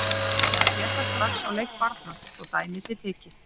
Maður sér það strax á leik barna, svo dæmi sé tekið.